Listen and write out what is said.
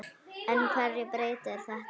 En hverju breytir þetta?